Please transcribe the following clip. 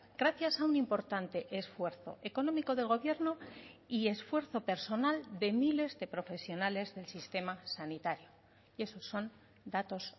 gracias a un importante esfuerzo económico del gobierno y esfuerzo personal de miles de profesionales del sistema sanitario y esos son datos